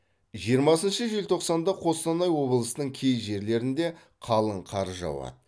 жиырмасыншы желтоқсанда қостанай облысының кей жерлерінде қалың қар жауады